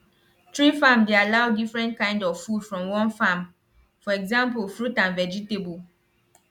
tree farm dey allow different kind of food from one farm for exampo fruit and vegetable